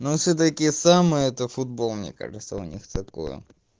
ну всё-таки сама это футбол мне кажется у них цветковые